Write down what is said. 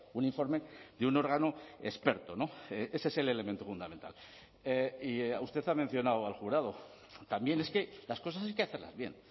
un informe de un órgano experto ese es el elemento fundamental y usted ha mencionado al jurado también es que las cosas hay que hacerlas bien